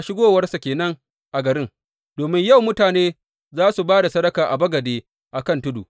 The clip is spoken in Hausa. Shigowarsa ke nan a garin, domin yau mutane za su ba da sadaka a bagade a kan tudu.